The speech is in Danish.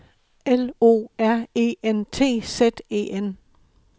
L O R E N T Z E N